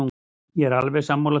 Ég er alveg sammála því.